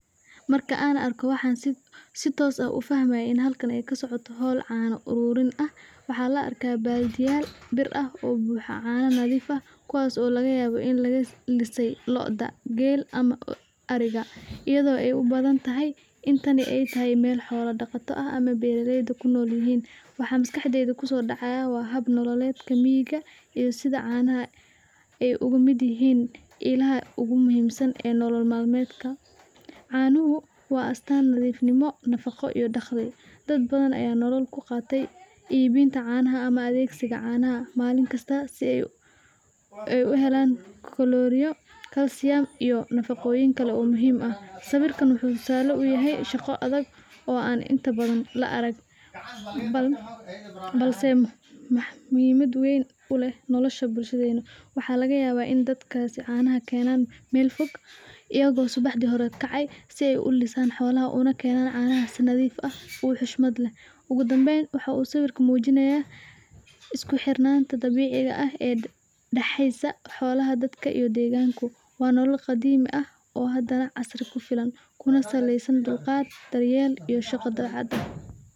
Marka an arko waxan sitos ah ufahmaya hol cana ururin ah waxaa la arka badiyal bir ah oo buxa cana kuwas oo laga yawo in laga lise loda geel ama ariga ee ubadan tahay intani ee tahay xolo daqata ee kunol yihin ee ogu miid yihin mida ogu muhiimsan ee nolol mal meedka, si ee u helan koloriyo, balse muhiimaada wen kuleh bulshaada ugu danben wuxuu sawirka mujinaya dabixiga ah waa nolol qadimi ah hadana kuna saleysa dulqaad.